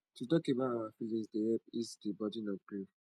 to talk about our feelings dey help ease di burden of grief